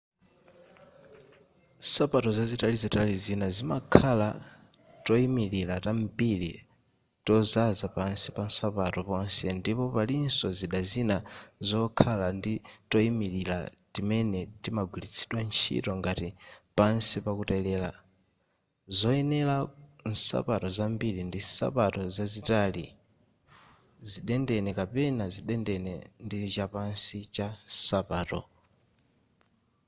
nsapato zitalizitali zina zimakhala toyimilira tambiri tozaza pansi pansapato ponse ndipo palinso zida zina zokhala ndi toyimilirati timene timagwiritsidwa ntchito ngati pansi pakutelera zoyenera ku nsapato zambiri ndi nsapato zitalizitali zidendene kapena zidendene ndichapansi cha nsapato